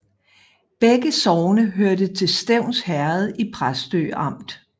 Begge sogne hørte til Stevns Herred i Præstø Amt